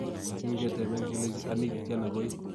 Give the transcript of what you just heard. Kin keteben kelenji, "Anii tiana koi?"